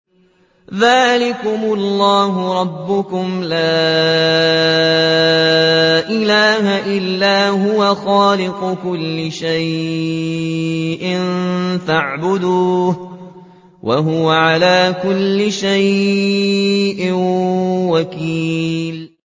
ذَٰلِكُمُ اللَّهُ رَبُّكُمْ ۖ لَا إِلَٰهَ إِلَّا هُوَ ۖ خَالِقُ كُلِّ شَيْءٍ فَاعْبُدُوهُ ۚ وَهُوَ عَلَىٰ كُلِّ شَيْءٍ وَكِيلٌ